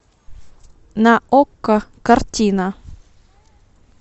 на окко картина